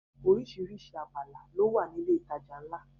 Oríṣiríṣi abala ló wà ní ilé ìtajà ńlá